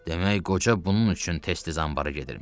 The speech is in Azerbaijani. Demək qoca bunun üçün tez-tez anbarda gedirmiş.